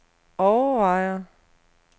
overvejer